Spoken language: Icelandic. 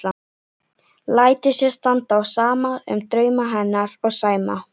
Lætur sér standa á sama um drauma hennar og Sæma.